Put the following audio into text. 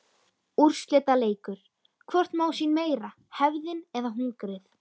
Úrslitaleikur: Hvort má sín meira hefðin eða hungrið?